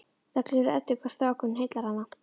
Það gleður Eddu hvað strákurinn heillar hana.